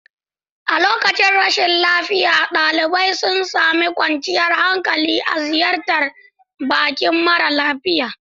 A lokacin rashin lafiya, ɗalibai sun sami kwanciyar hankali a ziyartar bakin mara lafiya.